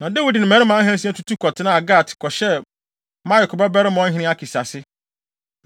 Na Dawid ne mmarima ahansia tutu kɔtenaa Gat kɔhyɛɛ Maok babarima ɔhene Akis ase.